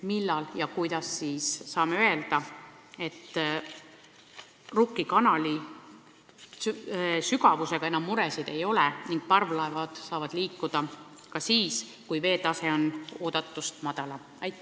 Millal saame öelda, et Rukki kanali sügavusega enam muresid ei ole ning parvlaevad saavad liikuda ka siis, kui veetase on oodatust madalam?